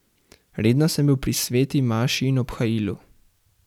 Redno sem bil pri sveti maši in obhajilu.